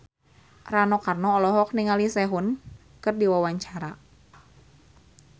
Rano Karno olohok ningali Sehun keur diwawancara